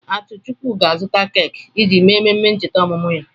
Atuchukwu ga-azụta keki iji mee emume ncheta ọmụmụ ya.